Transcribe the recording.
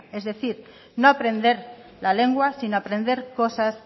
es decir no aprender la lengua sino aprender cosas